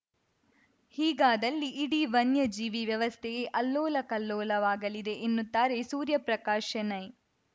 ಹೀಗಾದಲ್ಲಿ ಇಡೀ ವನ್ಯಜೀವಿ ವ್ಯವಸ್ಥೆಯೇ ಅಲ್ಲೋಲ ಕಲ್ಲೋಲವಾಗಲಿದೆ ಎನ್ನುತ್ತಾರೆ ಸೂರ್ಯಪ್ರಕಾಶ್‌ ಶೆಣೈ